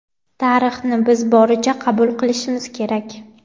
Tarixni biz boricha qabul qilishimiz kerak.